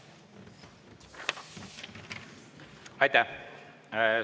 Aitäh!